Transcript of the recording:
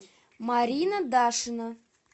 марина дашина